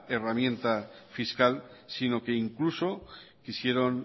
herramienta fiscal sino que incluso quisieron